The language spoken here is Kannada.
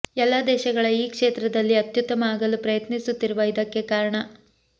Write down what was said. ಎಲ್ಲಾ ದೇಶಗಳ ಈ ಕ್ಷೇತ್ರದಲ್ಲಿ ಅತ್ಯುತ್ತಮ ಆಗಲು ಪ್ರಯತ್ನಿಸುತ್ತಿರುವ ಇದಕ್ಕೆ ಕಾರಣ